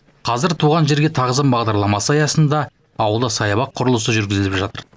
қазір туған жерге тағзым бағдарламасы аясында ауылда саябақ құрылысы жүргізіліп жатыр